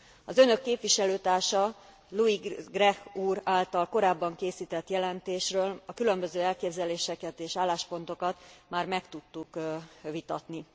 Az Önök képviselőtársa, Louis Grech úr által korábban készített jelentésről a különböző elképzeléseket és álláspontokat már meg tudtuk vitatni.